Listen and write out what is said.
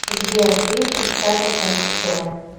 сбер фильм пятьдесят оттенков серого